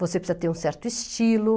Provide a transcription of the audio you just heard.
Você precisa ter um certo estilo.